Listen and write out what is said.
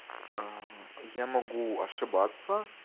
я могу ошибаться